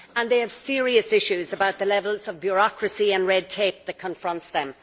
They have serious issues with the levels of bureaucracy and red tape that confront them.